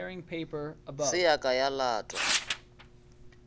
se ya ka ya latwa